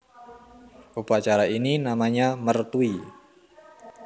Upacara ini namanya mertui